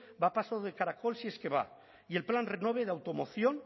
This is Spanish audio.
va a paso de caracol si es que va y el plan renove de automoción